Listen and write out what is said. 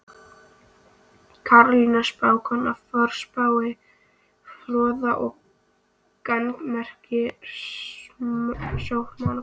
Karolína spákona, forspá fróð og gagnmerk sómakona.